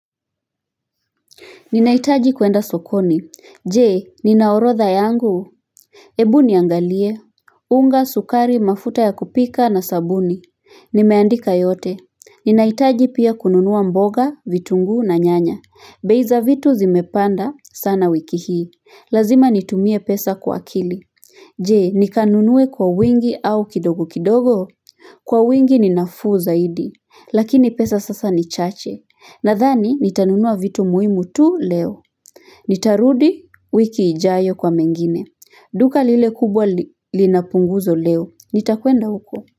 Ninaitaji kuenda sokoni, jee, ninaorotha yangu? Ebu niangalie, unga, sukari, mafuta ya kupika na sabuni Nimeandika yote, ninahitaji pia kununua mboga, vitungu na nyanya. Bei za vitu zimepanda sana wiki hii, lazima nitumie pesa kwa akili Jee, nika nunue kwa wingi au kidogo kidogo? Kwa wingi ni nafuu zaidi, lakini pesa sasa ni chache. Nadhani, nitanunua vitu muhimu tu leo. Nitarudi wiki ijayo kwa mengine. Duka lile kubwa linapunguzo leo. Nitakwenda huko.